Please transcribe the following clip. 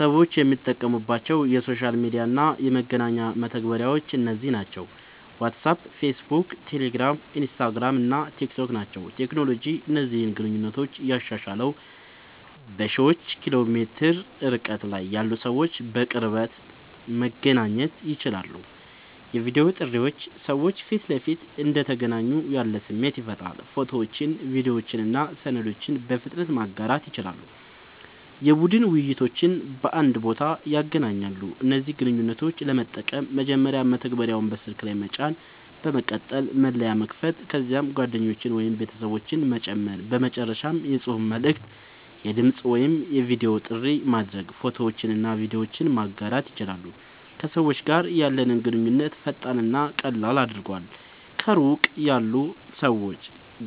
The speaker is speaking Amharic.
ሰዎች የሚጠቀሙባቸው የሶሻል ሚዲያ እና የመገናኛ መተግበሪያዎች እነዚህ ናቸው፦ ዋትስአፕ፣ ፌስቡክ፣ ቴሌግራም፣ ኢንስታግራም እና ቲክታክ ናቸዉ።.ቴክኖሎጂ እነዚህን ግንኙነቶች ያሻሻለዉ፦ በሺዎች ኪሎ ሜትር ርቀት ላይ ያሉ ሰዎች በቅጽበት መገናኘት ይችላሉ። የቪዲዮ ጥሪዎች ሰዎች ፊት ለፊት እንደተገናኙ ያለ ስሜት ይፈጥራሉ። ፎቶዎችን፣ ቪዲዮዎችን እና ሰነዶችን በፍጥነት ማጋራት ይችላሉ። የቡድን ውይይቶችን በአንድ ቦታ ያገናኛሉ። እነዚህን ግንኙነቶች ለመጠቀም፦ መጀመሪያ መተግበሪያውን በስልክ ላይ መጫን፣ በመቀጠል መለያ መክፈት፣ ከዚያም ጓደኞችን ወይም ቤተሰቦችን መጨመር፣ በመጨረሻም የጽሑፍ መልዕክት፣ የድምጽ ወይም የቪዲዮ ጥሪ ማድረግ፣ ፎቶዎችንና ቪዲዮዎችን ማጋራት ይችላሉ። ከሰዎች ጋር ያለንን ግንኙነት ፈጣንና ቀላል አድርጓል፣ ከሩቅ ያሉ ሰዎች